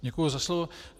Děkuji za slovo.